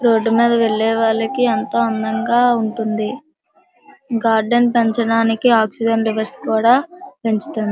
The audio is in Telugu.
రోడ్డు మీద వెళ్లే వాళ్ళకి ఎంతో అందంగా ఉంటుంది గార్డెన్ పెంచడానికి ఆక్సిజన్ లెవెల్స్ కూడా పెంచుతుంది.